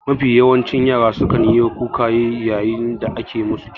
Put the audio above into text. Mafi yawan yara sukan yi kuka yayin da ake musu aski.